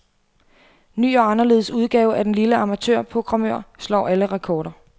Ny og anderledes udgave af den lille amatørprogrammør slår alle rekorder.